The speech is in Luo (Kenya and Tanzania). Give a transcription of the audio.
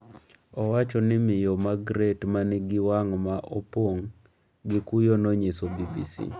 Owacho ni Miyo Magreti ma nigi wang’ ma opong’ gi kuyo nonyiso BBC.